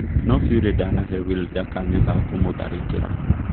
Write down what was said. No Fury ndanahe Wilder kanya ga kũmũtharĩkĩra